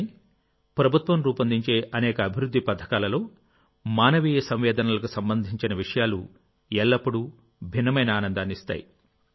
కానీ ప్రభుత్వం రూపొందించే అనేక అభివృద్ధి పథకాలలోమానవీయ సంవేదనలకు సంబంధించిన విషయాలు ఎల్లప్పుడూ భిన్నమైన ఆనందాన్ని ఇస్తాయి